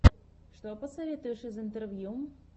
что посоветуешь из интервью